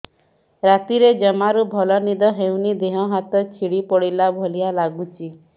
ରାତିରେ ଜମାରୁ ଭଲ ନିଦ ହଉନି ଦେହ ହାତ ଛିଡି ପଡିଲା ଭଳିଆ ଲାଗୁଚି